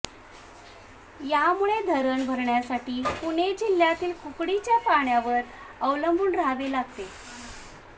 यामुळे धरण भरण्यासाठी पुणे जिल्ह्यातील कुकडी च्या पाण्यावर अवलंबुन राहावे लागते